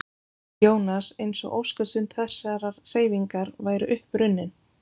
Jónas eins og óskastund þessarar hreyfingar væri upp runnin.